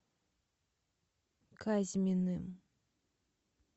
казьминым